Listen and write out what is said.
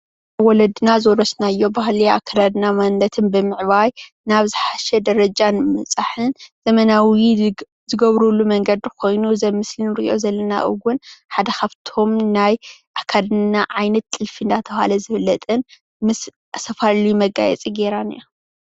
ወለድና ዝወረሶናዮ ባህሊ ኣከዳድና ማነነትን ብምዕባይ ናብ ዞሓሸ ደረጃ ብምብፃሕን ዘመናዊ ዝግብሩሉ መንገዲ ኾይኑ እዚ ኣብ ምስሊ እንሪኦ ዘለና እውን ሓደ ካፍቶም ናይ ኣከዳድና ዓይነት ጥልፊ እናተብሃለ ዝፍለጥን ዝተፈላለዩ መጋየፂ ጌራ እኒሃ።